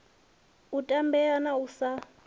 u tambea na u sa